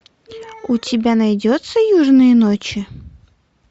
у тебя найдется южные ночи